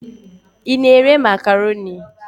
Ị na-ere Makroni?